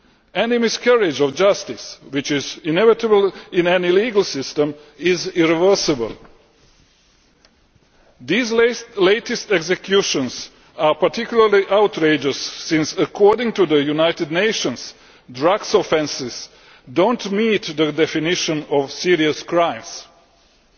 Any miscarriage of justice which is inevitable in any legal system is irreversible. These latest executions are particularly outrageous, since, according to the United Nations, drug offences do not meet the definition of serious crimes.